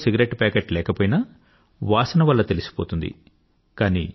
వారి జేబులో cigarette packet లేకపోయినా వాసన వాల్ల తెలిసిపోతుంది